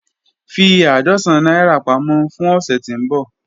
Fi àádọ́sán naira pamọ fun ọsẹ ti nbọ.